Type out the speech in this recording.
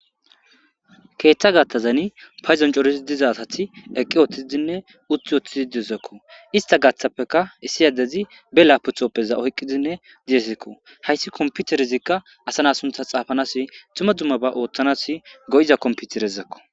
Keeththa gattazani payzoncorisi dizasati eqqi ooththiidinne uthi woththizi dizakko ista gaththappeka issiyadezi be laputhoppeza oyqqidinne diyesekko hayssi kompute rizikka asana suntha xaafanas tuma dumma ba ooththanas go7iza komputirezakko.